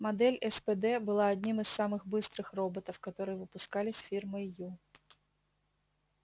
модель спд была одним из самых быстрых роботов которые выпускались фирмой ю